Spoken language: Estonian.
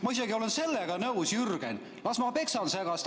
Ma isegi olen sellega nõus, Jürgen, las ma peksan segast.